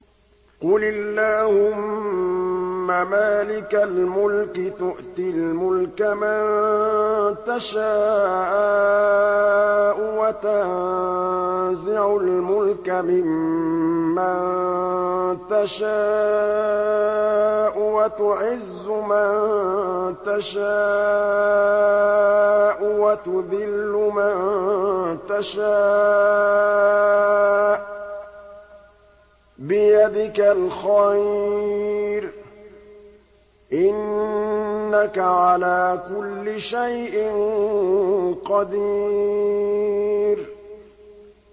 قُلِ اللَّهُمَّ مَالِكَ الْمُلْكِ تُؤْتِي الْمُلْكَ مَن تَشَاءُ وَتَنزِعُ الْمُلْكَ مِمَّن تَشَاءُ وَتُعِزُّ مَن تَشَاءُ وَتُذِلُّ مَن تَشَاءُ ۖ بِيَدِكَ الْخَيْرُ ۖ إِنَّكَ عَلَىٰ كُلِّ شَيْءٍ قَدِيرٌ